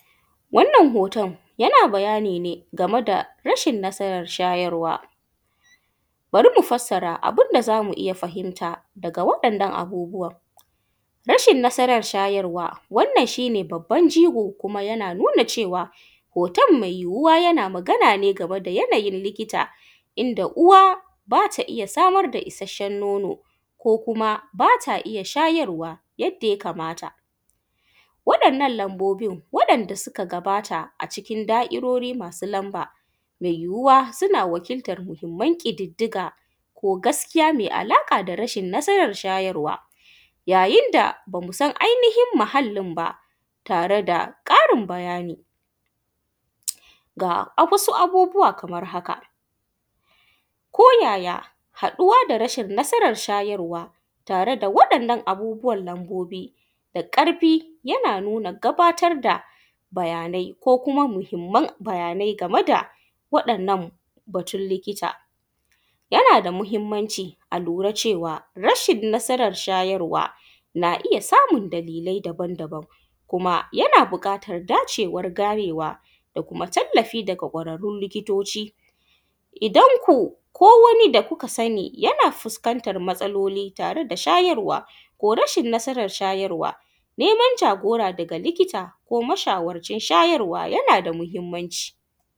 Wannan hoton yana bayani ne game da rashin nasaran shayarwa, bari mu fassara abun da za mu iya fahimta daga wa’yannan abubuwan. Rashin nasaran shayarwa shi ne babban jigo kuma yana yan cewa hoton me yuyuwa yana magana ne game da yanayin likita inda uwa zat a iya samar da isashen nono ko kuma ba ta iya shayarwa yanda ya kamata wa’yannan lanbobin wanda suka gabata cikin da’irori masu lanba me yuwowa suna wakiltan muhinman ƙididdiga ko gaskiya me alƙa da rashin shayarwan, yayinda ba mu san ainihin muhallin ba tare da ƙarin bayani. Ga wasu abubuwa kaman haka: ko yaya haɗuwa da rashin shayarwa tare da wa’yannan abubuwan lanbobi da ƙarfi yana nuna bayanai da kuma muhinman bayanai da wa’yannan batun likita, yana da mahinmanci a lura da rashin nasaran shayarwa na iya samun dalilai daban-daban kuma yana buƙatan dacewan ganewa da kuma tallafi daga kwararrun likitoci. Idan ku ko wani da kuka sani yana fuskantan matsaloli tare da shayarwa ko rashin nasaran shayarwa neman jagora daga likita da kuma mashawarcin shayarwa yana da mahinmanci.